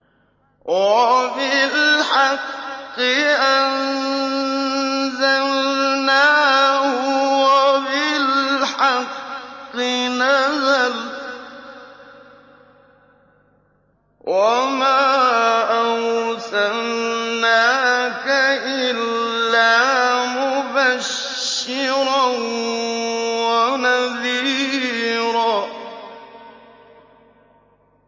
وَبِالْحَقِّ أَنزَلْنَاهُ وَبِالْحَقِّ نَزَلَ ۗ وَمَا أَرْسَلْنَاكَ إِلَّا مُبَشِّرًا وَنَذِيرًا